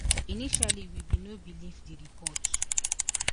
initially we bin no believe di reports